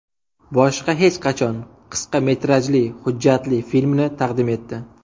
Boshqa hech qachon” qisqa metrajli hujjatli filmini taqdim etdi .